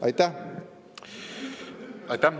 Aitäh!